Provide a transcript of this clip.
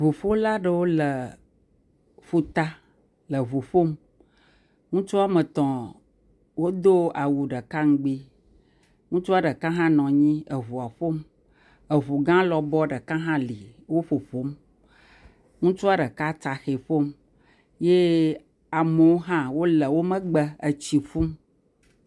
ʋuƒola ɖewo le ƒuta le ʋu ƒom ŋutsu wɔmetɔ̃ wodó awu ɖeka ŋgbi ŋutsua ɖeka hã nɔnyi eʋua ƒom eʋugã lɔbɔ ɖeka hã li wó ƒoƒom ŋutsua ɖeka tsaxɛ ƒom ye amewo hã wóle wó megbe etsiƒum